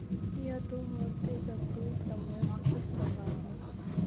и я думала ты забыл про моё существование